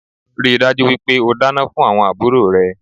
Ríi dájú wípé o dáná fún àwon àbúrò rẹ